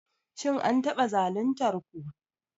Shin an taba zaluntar ku?